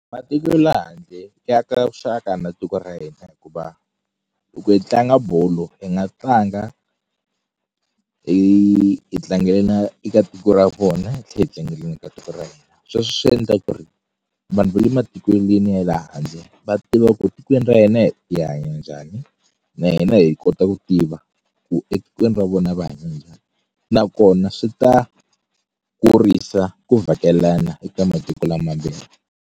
Matiko le handle ya aka vuxaka na tiko ra hina hikuva loko hi tlanga bolo hi nga tlanga hi hi tlangela eka tiko ra vona hi tlhe hi tlangeleni eka tiko ra hina sweswe swi yendla ku ri vanhu va le matikweleni ya le handle va tiva ku tikweni ra hina hi hi hanya njhani na hina hi kota ku tiva ku etikweni ra vona va hanya njhani nakona swi ta kurisa ku vhakelana eka matiko lamambirhi.